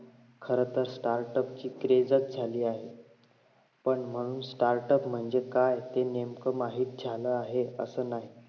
खरतर तर startup ची craze झाली आहे पण म्हणून startup म्हणजे काय असेल नेमकं माहित झालं आहे असे म्हण